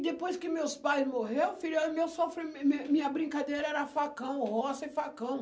Depois que meus pais morreu, filha, eu meu sofri mi mi minha brincadeira era facão, roça e facão.